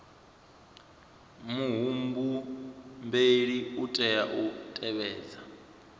muhumbeli u tea u tevhedza